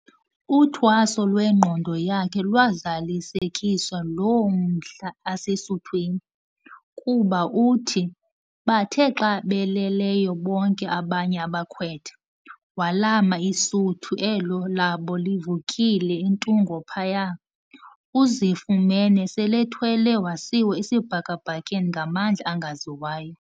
Uthwaso lwengqondo yakhe lwazalisekiswa loo mhla asesuthwini, kuba uthi, bathe xa beleleyo bonke abanye abakhwetha, walama isuthu elo labo livulekile entungo phaya, uzifumene sel'ethwelwe wasiwa esibhakabhakeni ngamandla angawaziyo.